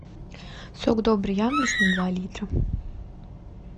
сок добрый яблочный два литра